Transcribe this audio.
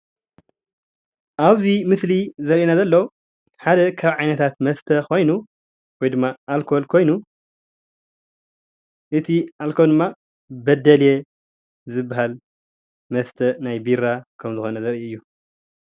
ኣብ እዚ ምስሊ ዘርእየና ዘሎ ሓደ ካብ ዓይነ ታት መስተ ኮይኑ ወይ ድማ ኣልኮል ኮይኑ እቲ ኣልኮል ድማ በደልየ ዝባሃል መስተ ናይ ቢራ ከም ዝኮነ ዘርእይ እዩ፡፡